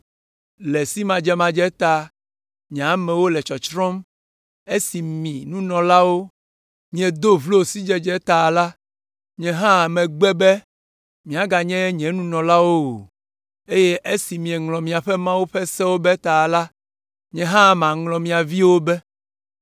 Le simadzemadze ta nye amewo le tsɔtsrɔ̃m, esi mi, nunɔlawo, miedo vlo sidzedze ta la, nye hã megbe be miaganye nye nunɔlawo o, eye esi mieŋlɔ miaƒe Mawu ƒe sewo be ta la, nye hã maŋlɔ mia viwo be.